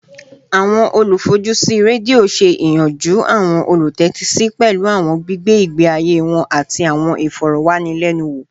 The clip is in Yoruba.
Awọn olufojusi redio ṣe iyanju awọn olutẹtisi pẹlu awọn gbigbe igbe aye wọn ati awọn ifọrọwanilẹnuwo